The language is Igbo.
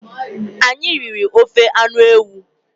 Anyị riri ofe anụ ewu.